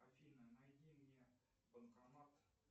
афина найди мне банкомат